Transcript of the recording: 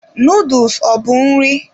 Noodles ọ bụ nri?